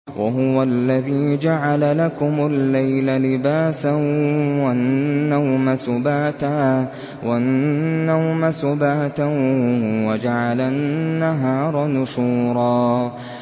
وَهُوَ الَّذِي جَعَلَ لَكُمُ اللَّيْلَ لِبَاسًا وَالنَّوْمَ سُبَاتًا وَجَعَلَ النَّهَارَ نُشُورًا